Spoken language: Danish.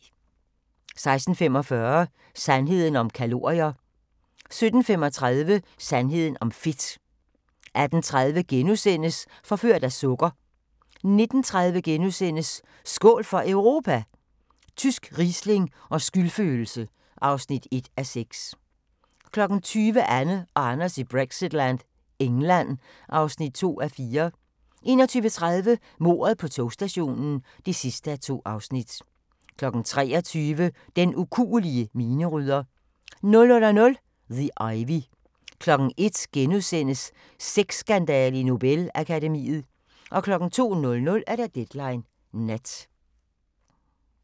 16:45: Sandheden om kalorier 17:35: Sandheden om fedt 18:30: Forført af sukker * 19:30: Skål for Europa? Tysk riesling og skyldfølelse (1:6)* 20:00: Anne og Anders i Brexitland: England (2:4) 21:30: Mordet på togstationen (2:2) 23:00: Den ukuelige minerydder 00:00: The Ivy 01:00: Sexskandale i Nobel-akademiet * 02:00: Deadline Nat